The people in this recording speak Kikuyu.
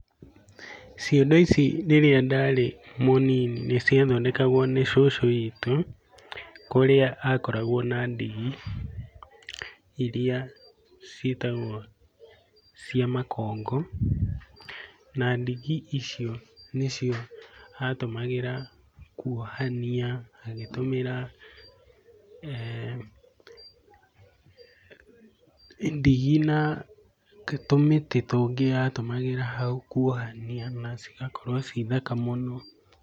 Ciondo ici rĩrĩa ndarĩ mũnini nĩciathindekagwo nĩ cũcũ witũ, kũrĩa akoragwo na ndigi iria ciĩtagwo cia makongo. Na ndigi icio nĩcio atũmagĩra kũohania, agĩtũmĩra ndigi na tũmĩtĩ tũngĩ atũmagĩra hau kwohania. Na cigakorwo ci thaka mũno.